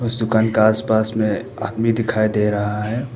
उस दुकान का आस पास में आदमी दिखाई दे रहा है।